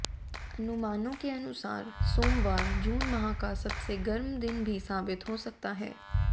अनुमानों के अनुसार सोमवार जून माह का सबसे गर्म दिन भी साबित हो सकता है